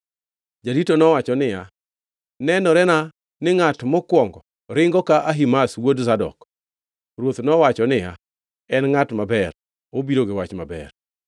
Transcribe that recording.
Jarito nowacho niya, “Nenorena ni ngʼat mokwongo ringo ka Ahimaz wuod Zadok.” Ruoth nowacho niya, “En ngʼat maber. Obiro gi wach maber.”